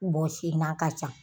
Bɔsi n'a ka ca